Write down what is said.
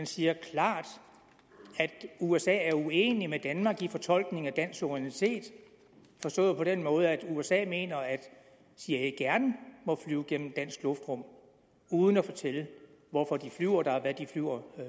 siger klart at usa er uenig med danmark i fortolkningen af dansk suverænitet forstået på den måde at usa mener at cia gerne må flyve gennem dansk luftrum uden at fortælle hvorfor de flyver der og hvad de flyver